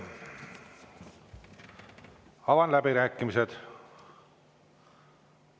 Avan läbirääkimised.